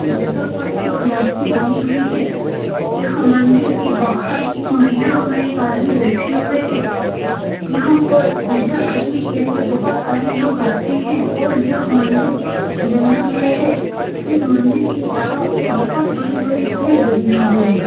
इस जगह पर एक मूर्ति बनी हुई है यहाँ मंदिर के बाहर एक महिला और एक आदमी बैठे हुए हैं यहाँ पर पूजा करने के लिए बहुत सारे लोग आते हैं और यह मंदिर जंगल में है और इस मंदिर के चारो और बहुत बड़े-बड़े पेड़ लगे हुए हैं।